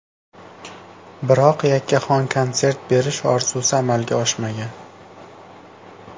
Biroq yakkaxon konsert berish orzusi amalga oshmagan.